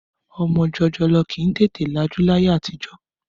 Ọmọ jòjòló kì í tètè lajú láyé àtijọ́.